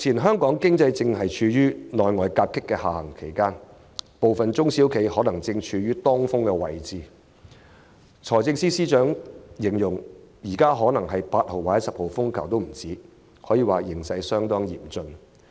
香港經濟正處於內外夾擊的下行期，部分中小企可能正處於當風位置，財政司司長就形容，這場風暴恐怕比8號或10號風球更猛烈，形勢相當嚴峻。